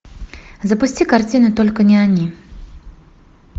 запусти картину только не они